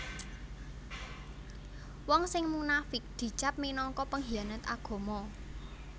Wong sing munafiq dicap minangka penghianat agama